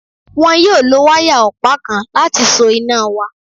Wọn yóò lo wáyà ọ̀pá kan láti so iná wa